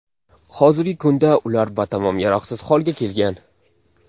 Hozirgi kunda ular batamom yaroqsiz holga kelgan.